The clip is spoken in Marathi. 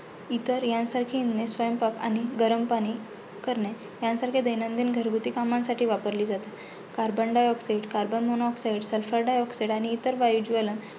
इतर ह्यांसारखी स्वयंपाक आणि पाणी गरम पाणी करणे, ह्यांसारख्या दैनदिन घरगुती कामांसाठी वापरली जाते. Carbon dioxide, carbon monoxide, sulpher diaoxide आणि इतर वायू ज्वलन